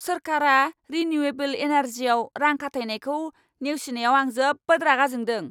सोरखारा रिनिउएबोल एनार्जियाव रां खाथायनायखौ नेवसिनायाव आं जोबोद रागा जोंदों।